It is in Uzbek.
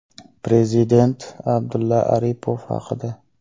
Prezident Abdulla Aripov haqida.